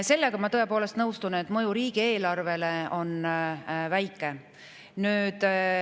Sellega ma tõepoolest nõustun, et mõju riigieelarvele on väike.